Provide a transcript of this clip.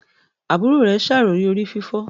Àbúrò rẹ ṣàròyé orí fífọ́.